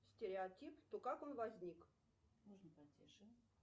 стереотип то как он возник